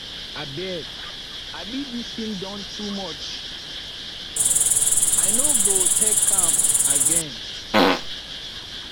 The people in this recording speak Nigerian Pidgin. abeg um dis thing don too muchi no go take am again